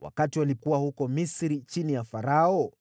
wakati walikuwa huko Misri chini ya Farao?